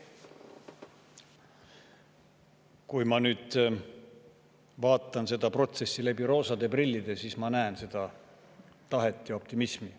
Kui ma vaatan seda protsessi läbi roosade prillide, siis ma näen seda tahet ja optimismi.